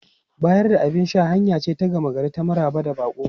Bayar da abin sha hanya ce ta gama gari ta maraba da baƙo.